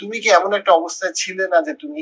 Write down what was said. তুমি কি এমন একটা অবস্থায় ছিলে না যে তুমি